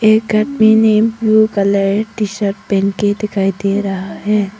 एक आदमी ने ब्लू कलर टीशर्ट पहन के दिखाई दे रहा है।